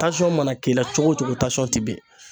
Tansɔn mana k'i la cogo o cogo tansɔn t'i ben